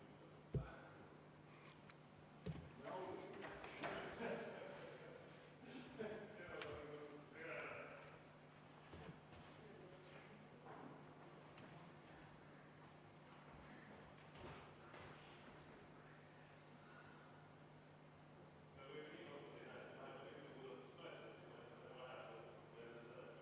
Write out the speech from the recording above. Panen hääletusele muudatusettepaneku nr 26, mille on esitanud Evelin Poolamets, Anti Poolamets ja Henn Põlluaas.